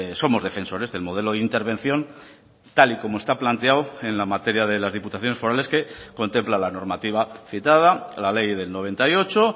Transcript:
somos defensores del modelo de intervención tal y como está planteado en la materia de las diputaciones forales que contempla la normativa citada la ley del noventa y ocho